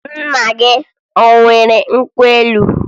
Nna gị e nwere nkwụ elu?